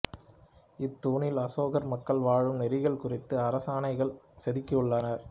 இத்தூணில் அசோகர் மக்கள் வாழும் நெறிகள் குறித்த அரசாணைகள் செதுக்கியுள்ளார்